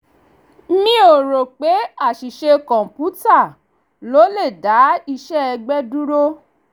mi ò ro pé aṣìṣe kọ̀ǹpútà ló le dá iṣẹ́ ẹgbẹ́ dúró